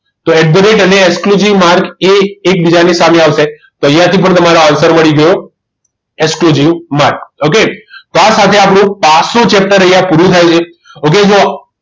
તો at the rate અને exclusive mark એ એકબીજાની સામે આવશે તો અહીંયા થી પણ તમારો answer મળી ગયો exclusive mark okay તો આ સાથે આપણું પાસુ chapter અહીંયા પૂરું થાય છે જુઓ